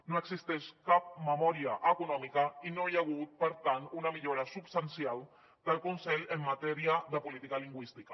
no existeix cap memòria econòmica i no hi ha hagut per tant una millora substancial del conselh en matèria de política lingüística